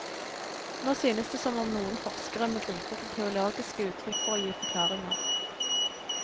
Nå synes det som om noen forskere må gripe til teologiske uttrykk for å gi forklaringer.